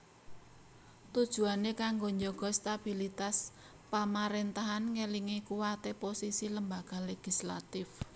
Tujuané kanggo njaga stabilitas pamaréntahan ngèlingi kuwaté posisi lembaga legislatif